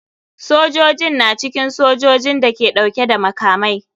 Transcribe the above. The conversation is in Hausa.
Sojojin na cikin sojojin da ke dauke da makamai.